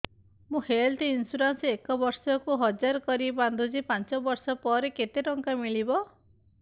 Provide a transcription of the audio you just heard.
ମୁ health insurance ଏକ ବର୍ଷକୁ ହଜାର କରି ବାନ୍ଧୁଛି ପାଞ୍ଚ ବର୍ଷ ପରେ କେତେ ଟଙ୍କା ମିଳିବ